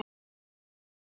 Má þetta alveg?